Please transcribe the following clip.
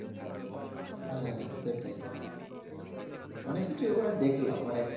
হ্যাঁ সেটাই অনেক কিছুই ওখানে দেখলাম মানে